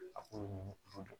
A k'olu dɔn